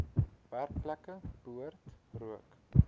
werkplekke behoort rook